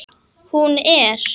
Hún er.